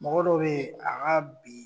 Mɔgɔ dɔ be yen a ka bi